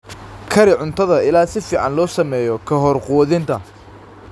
Kari cuntada ilaa si fiican loo sameeyo ka hor quudinta.